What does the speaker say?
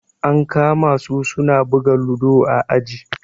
An kama su suna buga ludo a aji.